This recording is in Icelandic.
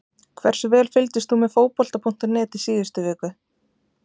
Hversu vel fylgdist þú með Fótbolta.net í síðustu viku?